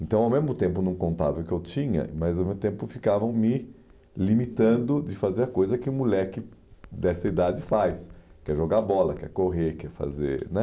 Então, ao mesmo tempo, não contavam o que eu tinha, mas ao mesmo tempo ficavam me limitando de fazer a coisa que um moleque dessa idade faz, que é jogar bola, que é correr, que é fazer, né?